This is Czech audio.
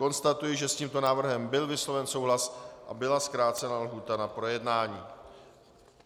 Konstatuji, že s tímto návrhem byl vysloven souhlas a byla zkrácena lhůta na projednání.